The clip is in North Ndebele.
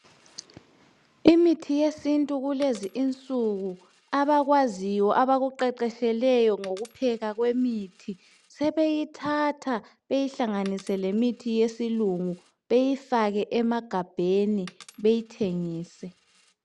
Imithi yesintu kulezi insuku abakwaziyo abakuqeqesheleyo ngokuphekwa kwemithi, sebeyithatha beyihlanganise lemithi yesilungu, beyifake emegabheni beyithengise.